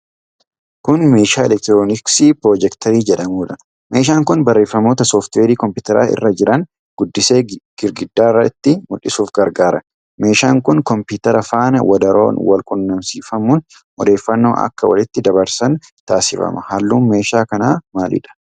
Kun meeshaa elektirooniksii pirojeektarii jedhamudha. meeshaan kun barreeffamoota sooftiweerii kompiitara irra jiran guddisee gidaara irratti mul'isuuf gargaara. Meeshaan kun kompiitara faana wadaroon wal quunnamsiifamuun odeeffannoo akka walitti daddabarsan taasifama. Halluun meeshaa kanaa maalidha?